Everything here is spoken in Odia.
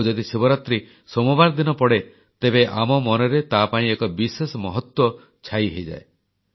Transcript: ଆଉ ଯଦି ଶିବରାତ୍ରୀ ସୋମବାର ଦିନ ପଡ଼େ ତେବେ ଆମ ମନରେ ତାପାଇଁ ଏକ ବିଶେଷ ମହତ୍ୱ ଛାଇ ହୋଇଯାଏ